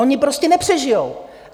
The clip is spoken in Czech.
Ony prostě nepřežijou.